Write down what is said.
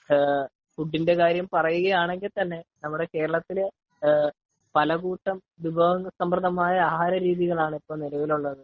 Food ഇന്റെ കാര്യം പറയുവാണെങ്കിൽ തന്നെ നമ്മുടെ കേരളത്തില് പലകൂട്ടം വിഭവസമൃദ്ധമായ ആഹാര രീതികൾ ആണ് ഇപ്പോൾ നിലവിൽ ഉള്ളത് .